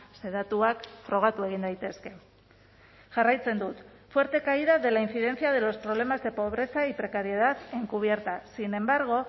ze datuak frogatu egin daitezke jarraitzen dut fuerte caída de la incidencia de los problemas de pobreza y precariedad encubierta sin embargo